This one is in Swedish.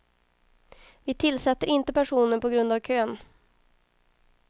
Vi tillsätter inte personer på grund av kön.